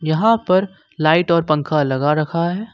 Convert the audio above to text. यहां पर लाइट और पंखा लगा रखा है।